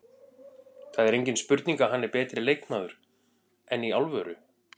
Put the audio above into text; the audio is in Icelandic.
Það er engin spurning að hann er betri leikmaður, enn í alvöru?